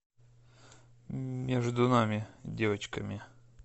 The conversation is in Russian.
между нами девочками